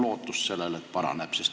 Kas on lootust, et see paraneb?